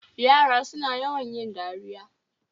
Yara suna yawan yin dariya